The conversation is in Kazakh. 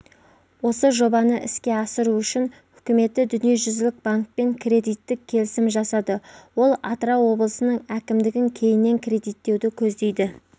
осы жобаны іске асыру үшін үкіметі дүниежүзілік банкпен кредиттік келісім жасады ол атырау облысының әкімдігін кейіннен кредиттеуді көздейді